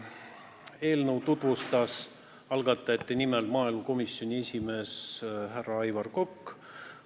Eelnõu tutvustas algatajate nimel maaelukomisjoni esimees härra Aivar Kokk.